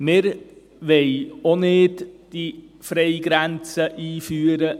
Wir wollen diese Freigrenze auch nicht einführen.